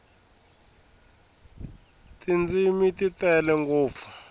tindzimi ti tele ngopfu